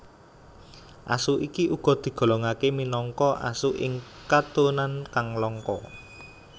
Asu iki uga digolongake minangka asu ing keturunan kang langka